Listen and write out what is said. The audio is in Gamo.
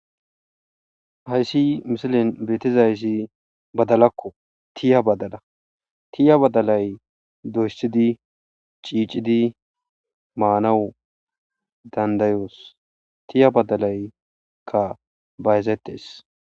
Hayssi misilin beetizayssi badalakko tiya badala tiya badalay doysidi ciicidi maanawu dandayoos tiya badalayka bayzettees.